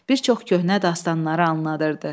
Bir çox köhnə dastanları anladırdı.